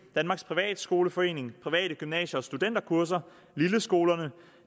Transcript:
danmarks privatskoleforening private gymnasier og studenterkurser lilleskolerne